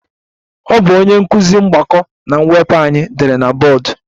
Ọ bụ onye nkụzi mgbakọ na mwepụ anyị dere na bọọdụ